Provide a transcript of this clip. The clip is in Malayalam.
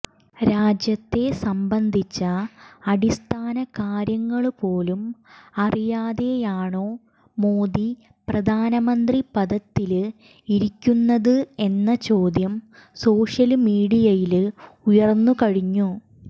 രാജ്യത്തെ സംബന്ധിച്ച അടിസ്ഥാനകാര്യങ്ങള് പോലും അറിയാതെയാണോ മോദി പ്രധാനമന്ത്രി പദത്തില് ഇരിക്കുന്നത് എന്ന ചോദ്യം സോഷ്യല് മീഡിയയില് ഉയര്ന്നുകഴിഞ്ഞു